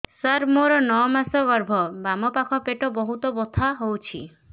ସାର ମୋର ନଅ ମାସ ଗର୍ଭ ବାମପାଖ ପେଟ ବହୁତ ବଥା ହଉଚି